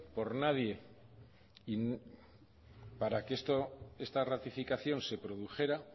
por nadie para que esto esta ratificación se produjera